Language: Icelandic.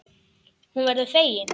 Hún verður fegin.